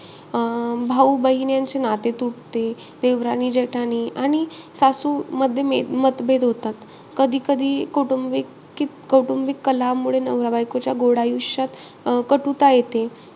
अं भाऊ बहीण यांचे नाते तुटते. आणि सासूमध्ये म मतभेद होतात. कधी-कधी कौटुंबिक कि कौटुंबिक कलहामुळे नवरा बायकोच्या गोड आयुष्यात कटुता येते.